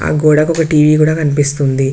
గోడకు ఒక టీవీ కూడా కనిపిస్తుంది.